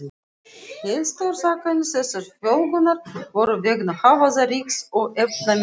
Helstu orsakir þessarar fjölgunar voru vegna hávaða-, ryks- og efnamengunar.